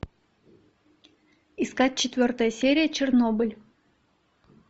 искать четвертая серия чернобыль